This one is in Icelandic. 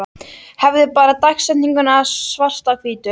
Hefði bara dagsetninguna svart á hvítu.